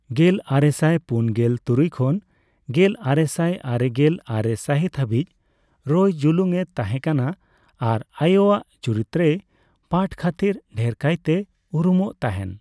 ᱜᱮᱞᱟᱨᱮᱥᱟᱭ ᱯᱩᱱᱜᱮᱞ ᱛᱩᱨᱩᱭ ᱠᱷᱚᱱ ᱜᱮᱞ ᱟᱨᱮᱥᱟᱭ ᱟᱨᱮᱜᱮᱞ ᱟᱨᱮ ᱥᱟᱹᱦᱤᱛ ᱦᱟᱹᱵᱤᱡ ᱨᱚᱭ ᱡᱩᱞᱩᱝ ᱮ ᱛᱟᱦᱮᱸ ᱠᱟᱱᱟ ᱟᱨ ᱟᱭᱳᱟᱜ ᱪᱩᱨᱤᱛᱨᱮᱭ ᱯᱟᱴᱷ ᱠᱷᱟᱹᱛᱤᱨ ᱰᱷᱮᱨᱠᱟᱭᱛᱮᱨ ᱩᱨᱩᱢᱚᱜ ᱛᱟᱸᱦᱮᱱ ᱾